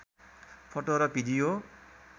photo र video